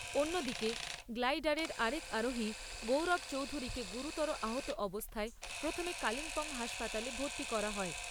অন্যদিকে, গ্লাইডারের আরেক আরোহী গৌরব চৌধুরীকে গুরুতর আহত অবস্থায় প্রথমে কালিম্পং হাসপাতালে ভর্তি করা হয়।